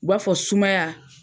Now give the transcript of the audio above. U b'a fɔ sumaya.